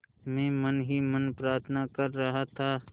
मैं मन ही मन प्रार्थना कर रहा था